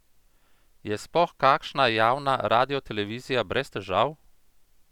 Je sploh kakšna javna radiotelevizija brez težav?